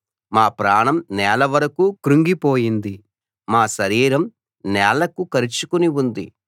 మా ప్రాణం నేల వరకూ కుంగి పోయింది మా శరీరం నేలకు కరచుకుని ఉంది